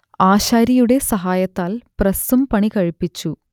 ആശാരിയുടെ സഹായത്താൽ പ്രസ്സും പണികഴിപ്പിച്ചു